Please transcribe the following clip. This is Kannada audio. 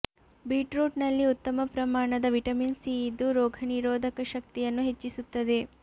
ಬೀಟ್ರೂಟ್ ನಲ್ಲಿ ಉತ್ತಮ ಪ್ರಮಾಣದ ವಿಟಮಿನ್ ಸಿ ಇದ್ದು ರೋಗ ನಿರೋಧಕ ಶಕ್ತಿಯನ್ನು ಹೆಚ್ಚಿಸುತ್ತದೆ